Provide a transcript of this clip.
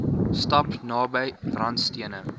stap naby randstene